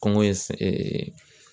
Kɔngɔ ye